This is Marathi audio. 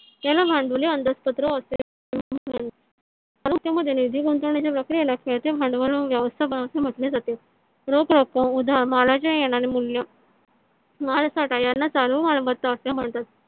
याला भांडवली अंदाजपत्रक असे . निधी गुंतवण्याच्या प्रक्रियेला खेळते भांडवल व व्यवस्थापन असे म्हटले जाते. रोख रक्कम उदा मालाचे मूल्य भारत सरकार याला चालू मालमत्ता असे म्हणतात.